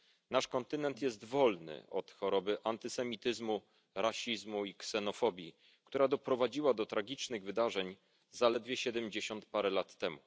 nasz kontynent jest wolny od choroby antysemityzmu, rasizmu i ksenofobii, która doprowadziła do tragicznych wydarzeń zaledwie siedemdziesiąt parę lat temu.